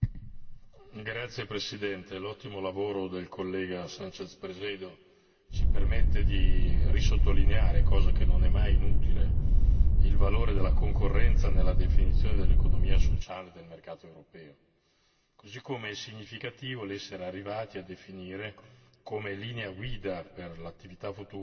Signor Presidente, onorevoli colleghi, l'ottimo lavoro del collega Sànchez Presedo ci permette di sottolineare di nuovo cosa che non è mai inutile il valore della concorrenza nella definizione dell'economia sociale del mercato europeo. Così come è significativo l'essere arrivati a definire come linea guida per l'attività futura,